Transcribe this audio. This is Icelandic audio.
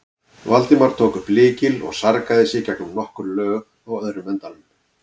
Valdimar tók upp lykil og sargaði sig gegnum nokkur lög á öðrum endanum.